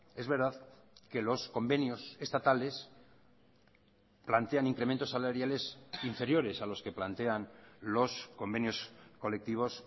es verdad que los convenios estatales plantean incrementos salariales inferiores a los que plantean los convenios colectivos